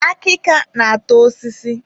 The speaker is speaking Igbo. Akịka na-ata osisi